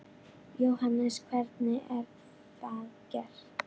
Jóhannes: Hvernig er það gert?